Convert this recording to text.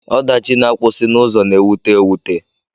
Ọdachi na-akwụsị n'ụzọ na-ewute ewute.